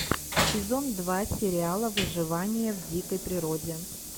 сезон два сериала выживание в дикой природе